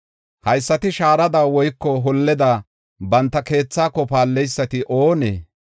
“Haysati shaarada woyko holleda banta keethako paalleysati oonee?